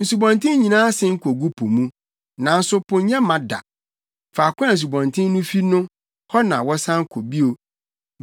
Nsubɔnten nyinaa sen kogu po mu, nanso po nyɛ ma da. Faako a nsubɔnten no fi no hɔ na wɔsan kɔ bio.